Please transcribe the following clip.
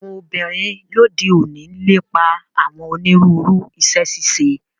Àwọn obinrin lode oni lepa awọn oniruuru iṣẹ-ṣiṣe